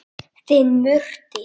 Þinn Murti.